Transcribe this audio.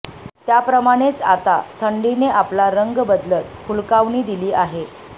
त्याप्रमाणेच आता थंडीने आपला रंग बदलत हुलकावणी दिली आहे